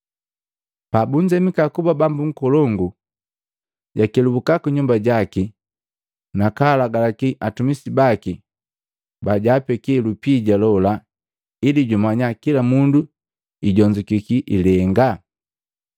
“Pabunzemika kuba bambu nkolongu, jakelubuka ku nyumba jaki na kalagalaki atumisi baki bajaapeki lupija lola ili jumanya kila mundu ijonzukiki ilengaa.